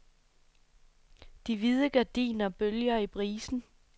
De hvide gardiner bølger i brisen.